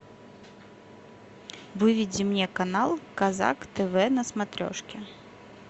выведи мне канал казак тв на смотрешке